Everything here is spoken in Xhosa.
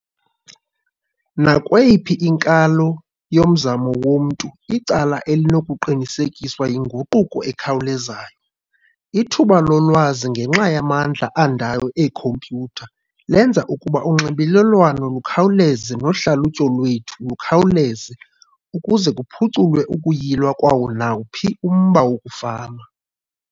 Nakweyiphi inkalo yomzamo womntu icala elinokuqinisekiswa yinguquko ekhawulezayo. Ithuba lolwazi ngenxa yamandla andayo eekhompyutha lenza ukuba unxibelelwano lukhawuleze nohlalutyo lwethu lukhawuze ukuze kuphuculwe ukuyilwa kwawo nawuphi umba wokufama.